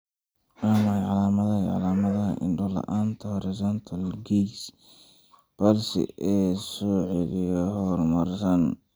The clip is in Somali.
Waa maxay calamadaha iyo calamadaha indho-la'aanta Horizontal gaze palsy ee leh scoliosis horumarsan?